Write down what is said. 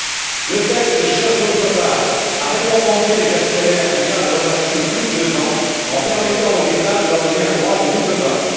D'autre part, le texte cherche d'autre part à récompenser les actionnaires qui gardent leurs actions plus de deux ans, en permettant aux États de leur donner un droit de double vote.